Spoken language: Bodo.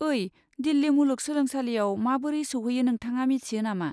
ओइ, दिल्लि मुलुग सोलोंसालियाव माबोरै सौहैयो नोंथाङा मिथियो नामा?